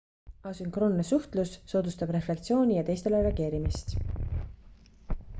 asünkroonne suhtlus soodustab refleksiooni ja teistele reageerimist